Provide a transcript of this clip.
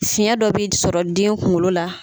Fiɲɛ dɔ bɛ sɔrɔ den kungolo la.